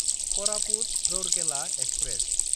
करापुत–रौरकेला express